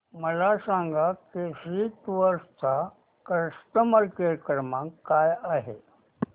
मला सांगा केसरी टूअर्स चा कस्टमर केअर क्रमांक काय आहे